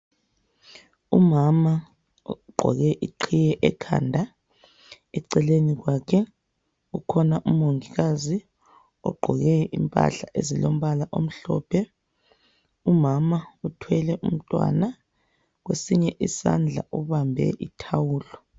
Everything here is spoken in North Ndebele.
Umama ogqoke iqhiye ekhanda, eceleni kwakhe kukhona umongikazi ogqoke impahla ezilombala omhlophe. Umama uthwele umntwana kwesinye isandla ubambe ithawulo.